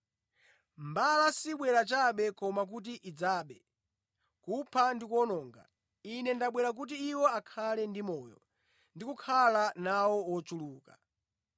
Mbala sibwera chabe koma kuti idzabe, kupha ndi kuwononga. Ine ndabwera kuti iwo akhale ndi moyo, ndi kukhala nawo wochuluka.